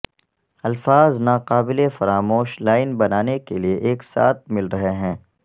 الفاظ ناقابل فراموش لائن بنانے کے لئے ایک ساتھ مل رہے ہیں